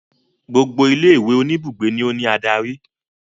Gbogbo ilé ìwé oníbùgbé ni ó ní adarí.